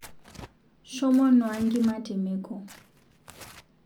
Shomoo nuaa nkima temeko